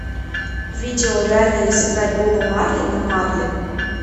видео реально ли сыграть боба марли на марле